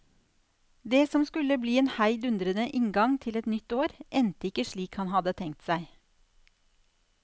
Det som skulle bli en heidundrende inngang til et nytt år, endte ikke slik han hadde tenkt seg.